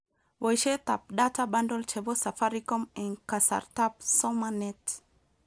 Boishetab data bundle chebo Safaricom eng kasartab somaNET